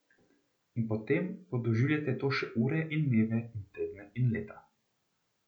In potem podoživljate to še ure in dneve in tedne in leta.